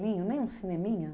Nem um, nem um cineminha?